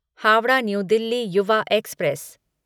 Howrah new Delhi Yuva express